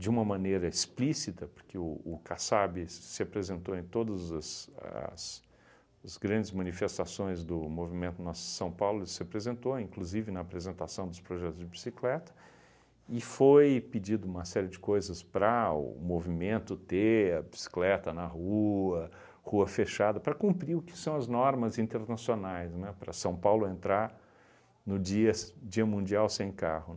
de uma maneira explícita, porque o o Kassab se apresentou em todas as grandes as as manifestações do movimento Nossa São Paulo, se apresentou inclusive na apresentação dos projetos de bicicleta, e foi pedido uma série de coisas para o movimento ter a bicicleta na rua, rua fechada, para cumprir o que são as normas internacionais, né, para São Paulo entrar no dia s mundial sem carro.